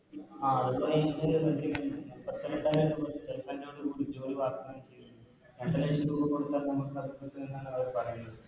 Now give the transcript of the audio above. ആ Stipend ഓടു കൂടി ജോലി വക്‌താനം ചെയ്യുന്നത് രണ്ട് ലക്ഷം രൂപ കൊടുത്താൽ നമുക്ക് അവര് പറയുന്നത്